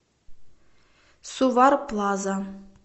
сувар плаза